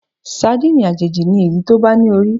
Sadíìnì àjèjì ni èyí tó bá ní orí.